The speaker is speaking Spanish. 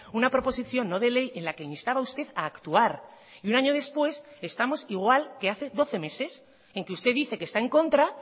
una proposición no de ley en la que instaba usted a actuar y un año después estamos igual que hace doce meses en que usted dice que está en contra